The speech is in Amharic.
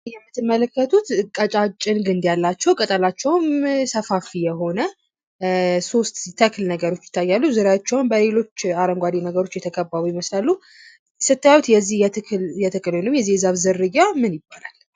ይህ የምትመለከቱት ቀጫጭን ግንድ ያላቸው ቅጠላችውም ሰፋፊ የሆነ ሶስት ተክልብነገሮች ይታያሉ ፤ በዙሪያቸዉም በአረንጓዴ የተከበቡ ይመስላሉ። ስታዩት የዚህ ተክል ወይም የዚህ የዛፍ ዝርያ ምን ምን ይባላል?